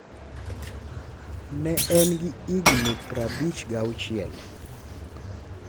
ne en gi hingi pra bich ga auchiel